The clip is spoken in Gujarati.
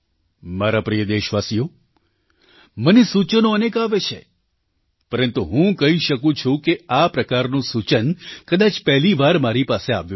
મારા પ્રિય દેશવાસીઓ મને સૂચનો અનેક આવે છે પરંતુ હું કહી શકું છું કે આ પ્રકારનું સૂચન કદાચ પહેલી વાર મારી પાસે આવ્યું છે